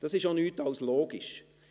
Das ist auch nichts als logisch.